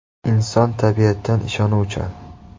Inson tabiatan ishonuvchan.